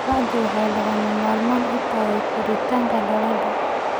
Qorraxdu waxay lagama maarmaan u tahay koritaanka dalagga.